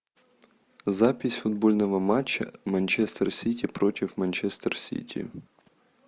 запись футбольного матча манчестер сити против манчестер сити